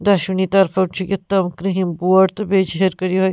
.دۄشوٕنی طرفو چھ کرٛہیٚن بۄڈ تہٕ بیٚیہِ چھ ہیٚرِ کنہِ یہِ